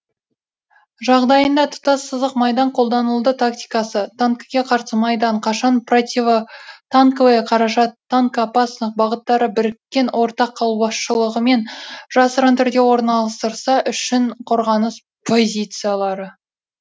жағдайында тұтас сызық майдан қолданылды тактикасы танкіге қарсы майдан қашан противотанковые қаражат танкоопасных бағыттары біріккен ортақ қолбасшылығымен жасырын түрде орналастырса үшін қорғаныс позициялары